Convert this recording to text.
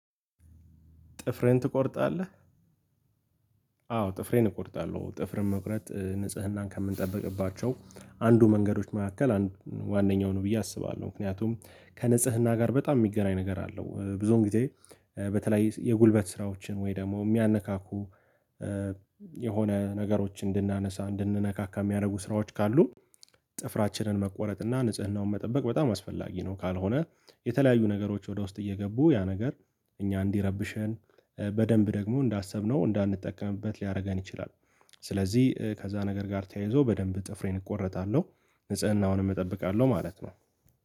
ጥፍህን ትቆርጣለህ? አዎ ጥፍሬን እቆርጣለሁ ጥፍርን መቁረጥ ንጽህናን ከምንጠብቅባቸው አንዱ መንገዶች መካከል አንዱ ዋነኛው ነው ብዬ አስባለሁ ምክንያቱም ከንጽህና ጋር በጣም የሚገናኝ ነገር አለው ብዙውን ጊዜ። በተለይ የጉልበት ስራዎችን ወይ ደግሞ የሚያነካኩ የሆነ ነገሮችን እንድናነሳ እንድንነካካ የሚያደርጉ ስራዎች ካሉ። ጥፍራችንን መቆረጥ እና ንጽህናውን መጠበቅ በጣም አስፈላጊ ነው። ካልሆነ የተለያዩ ነገሮች ወደ ውስጥ እየገቡ ያ ነገር እኛን እንዲረብሸን በደንብ ደግሞ እንዳሰብነው እንዳንጠቀምበት ሊያደርገን ይችላል። ስለዚህ ከዛ ነገር ጋር ተያይዞ በደንብ ጥፍሬን እቆረጣለሁ ንጽህናውንም እጠብቃለሁ ማለት ነው።